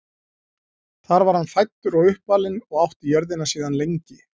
Þar var hann fæddur og uppalinn og átti jörðina síðan lengi.